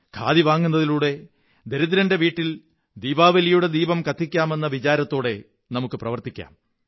ഖാദി വാങ്ങുന്നതിലൂടെ ദരിദ്രന്റെ വീട്ടിൽ ദീപാവലിയുടെ ദീപം കത്തിക്കാമെന്ന വിചാരത്തോടെ നമുക്ക് പ്രവര്ത്തിതക്കാം